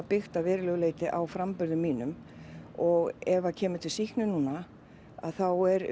byggt að verulegu leyti á framburði mínum og ef kemur til sýknu núna þá er